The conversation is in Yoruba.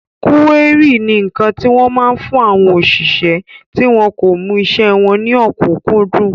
Kúérì ni ǹkan tí wọ́n máa ń fún àwọn òṣìṣẹ́ tí wọn kò mú isẹ́ wọn ní ọ̀kúnkúndùn